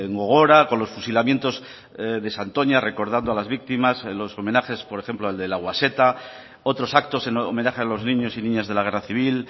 gogora con los fusilamientos de santoña recordando a las víctimas los homenajes por ejemplo el de lauaxeta otros actos en homenaje a los niños y niñas de la guerra civil